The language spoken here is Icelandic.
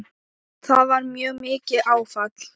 Það var mjög mikið áfall.